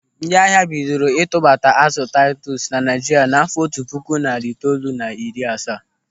Ndị ahịa bidoro a tubata azụ taitus na Naịjirịa n'àfọ́ otu puku narị itoolu na iri asaa.